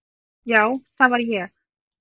Já, það var ég.